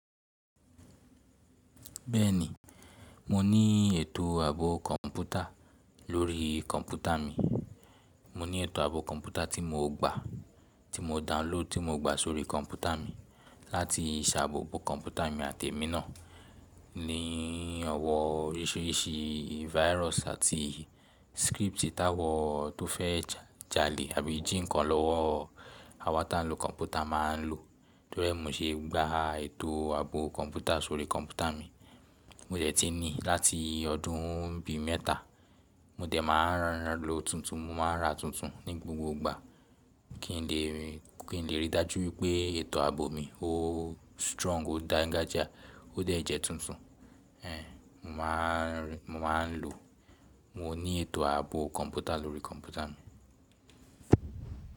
Bẹ́ẹ̀ni, mo ní ètò àbọ kọ̀npútà lórí kọ̀npútà mi. Mo ní ètò àbò kọ̀npútà tí mo gba, tí mo download, tí mo gba sórí kọ̀npútà mi láti ṣàbò bo kọ̀npútà mi àti emí náà ní ọ̀wọ̀ oríṣìíríṣìí virus àti script táwọn tó fẹ́ jalè àbí jí nǹkan lọ́wọ́ àwa tí a ń lo kọ̀npútà máa ń lò. Nítorí ẹ́, mo ṣe gbá ètò àbò kọ̀npútà sórí kọ̀npútà mi. Mo dẹ̀ ti ní láti ọdún bí mẹ́ta. Mo dẹ̀ máa ń rànán lo tuntun, mo máa ń ra tuntun ní gbogbo ìgbà kí n lè rí i dájú wípé ètò àbò mi ó strong, ó dańgájíá, ó dẹ̀ jẹ́ tuntun. Ehn, mo máa ń lò. Mo ní ètò àbò kọ̀npútà lórí kọ̀npútà mi.